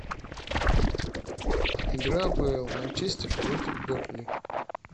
игра апл манчестер против бернли